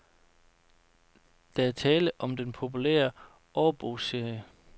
Der er tale om den populære årbogsserie.